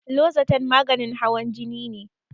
Lozatan maganin hawan jini ne